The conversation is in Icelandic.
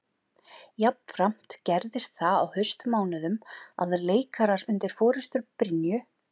Jafnframt gerðist það á haustmánuðum að leikarar undir forustu Brynju